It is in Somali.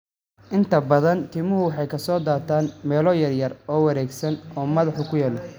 Inta badan, timuhu waxay ka soo daataan meelo yaryar oo wareegsan oo madaxa ku yaal.